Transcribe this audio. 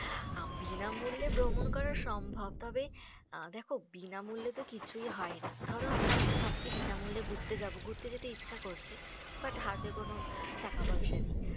বিনামূল্যে ভ্রমণ করা সম্ভব। তবে আ দেখো, বিনামূল্যে তো কিছুই হয়না। ধরো আমরা এখন ভাবছি বিনামূল্যে ঘুরতে যাবো। ঘুরতে যেতে ইচ্ছে করছে। but হাতে কোনো টাকা পয়সা নেই।